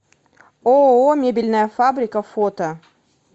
ооо мебельная фабрика фото